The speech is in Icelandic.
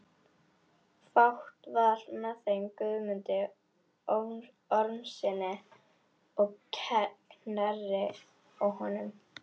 Fátt var með þeim Guðmundi Ormssyni á Knerri og honum.